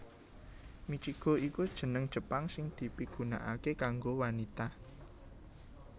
Michiko iku jeneng Jepang sing dipigunakaké kanggo wanita